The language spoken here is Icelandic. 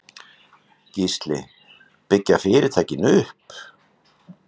Gísli: Byggja fyrirtækin upp?